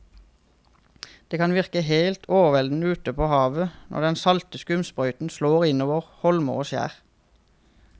Det kan virke helt overveldende ute ved havet når den salte skumsprøyten slår innover holmer og skjær.